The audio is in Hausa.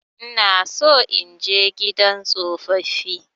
Ina so in je gidan tsofaffi.